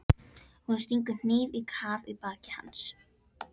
Hún stingur hnífnum á kaf í bak hans.